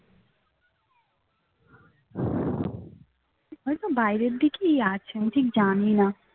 হয়তো বাইরের দিকেই আছে আমি ঠিক জানি না